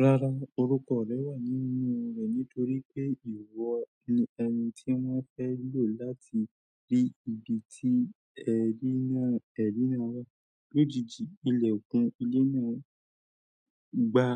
Rárá, orúkọ rẹ̀ wà nínú rẹ̀ nítorí pé ìwọ ni ẹni tí wọ́n fẹ́ lò láti rí ibi tí ẹ̀rí náà, ẹ̀rí náà wà. Lójijì, ilẹ̀kùn ilé náà gba